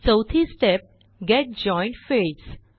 चौथी step get joined fields